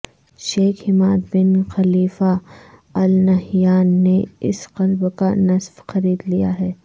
شیخ Hamad bin Khalifa Al Nahyan نے اس club کا نصف خرید لیا ہے